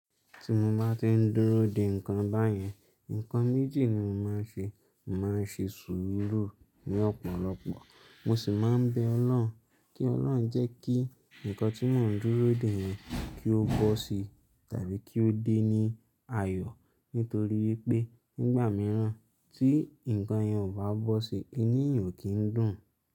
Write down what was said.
Tí mo bá ti ń dúró de ǹkan báyẹn, ǹkan méjì ni mo máa ń ṣe. Mo máa ń ṣe sùúrù ní ọ̀pọ̀lọpọ̀, mo sì máa ń bẹ Ọlọ́run kí Ọlọ́run jẹ́ kí ǹkan tí mò ń dúró dè yẹn kí ó bọ́ sí tàbí kí ó dé ní ayọ̀. Nítorí wípé nígbà mìíràn tí ǹkan yẹn ò bá bọ́ sí, inú èèyàn o kì n dùn.